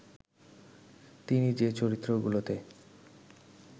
তিনি যে চরিত্রগুলোতে